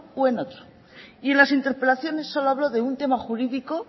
y en otro y las interpelaciones solo habló de un tema jurídico